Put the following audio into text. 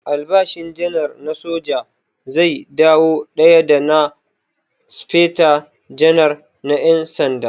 Albashin Janar din soja zai dawo daya da na Speta Janar na ƴan sanda.